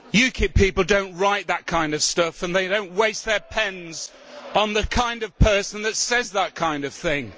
UKIP people do not write that kind of stuff, and they do not waste their pens on the kind of person that says that kind of thing.